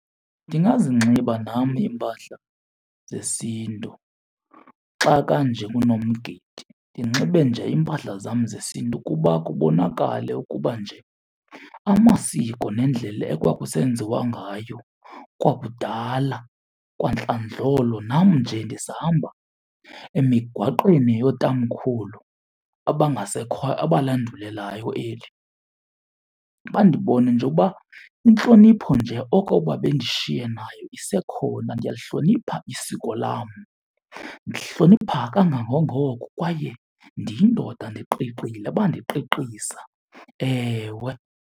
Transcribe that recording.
Ndingazinxiba nam iimpahla zesiNtu xa kanje kunomgidi. Ndinxibe nje iimpahla zam zesiNtu ukuba kubonakale ukuba nje amasiko nendlela ekwakusenziwa ngayo kwakudala, kwantlandlolo nam nje ndisahamba emigaqweni yootamkhulu abangasekhoyo abalandulelayo eli. Bandibone nje uba intlonipho nje oko babendishiye nayo isekhona. Ndiyalihlonipha isiko lam, ndihlonipha kangangongoko kwaye ndiyindoda ndiqiqile bandiqiqisa, ewe.